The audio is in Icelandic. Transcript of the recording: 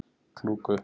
Klúku